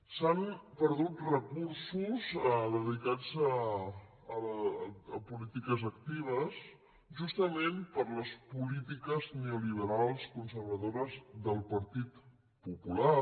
s’han perdut recursos dedicats a polítiques actives justament per les polítiques neoliberals conservadores del partit popular